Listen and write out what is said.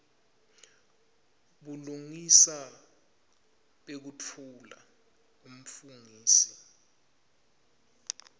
bulungisa bekutfula umfungisi